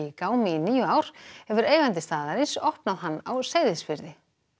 gámi í níu ár hefur eigandi staðarins opnað hann á Seyðisfirði